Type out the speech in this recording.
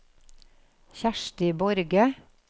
Kjersti Borge